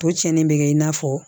To cɛnni bɛ kɛ i n'a fɔ